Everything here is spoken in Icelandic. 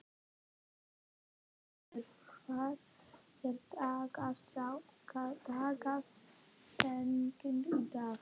Þormundur, hver er dagsetningin í dag?